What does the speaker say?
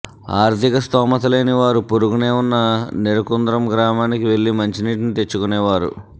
ఆర్థిక స్థోమత లేని వారు పొరుగునే ఉన్న నెరుకుంద్రం గ్రామానికి వెళ్లి మంచినీటిని తెచ్చుకునేవారు